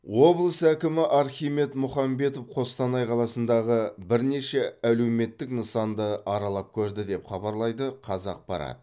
облыс әкімі архимед мұхамбетов қостанай қаласындағы бірнеше әлеуметтік нысанды аралап көрді деп хабарлайды қазақпарат